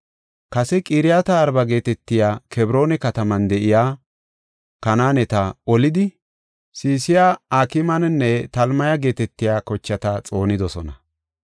Kase Qiriyaat-Arba geetetiya Kebroona kataman de7iya Kanaaneta olidi Sesaya, Akmaananne Talmaya geetetiya kochata xoonidosona.